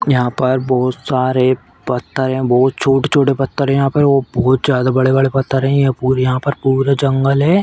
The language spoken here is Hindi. यहाँ पर बोहोत सारे पत्थर हैं। बोहोत छोटे-छोटे पत्थर हैं यहाँ पर और बोहोत ज्यादा बड़े-बड़े पत्थर हैं। यहाँ पूरे यहां पर पूरा जंगल है।